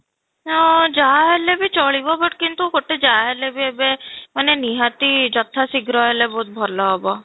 ହଁ, ଯାହାହେଲେ ବି ଚଲିବ but କିନ୍ତୁ ଗୋଟେ ଯାହାହେଲେ ବି ଏବେ ମାନେ ନିହାତି ଯଥା ଶୀଘ୍ର ହେଲେ ବହୁତ ଭଲ ହେବ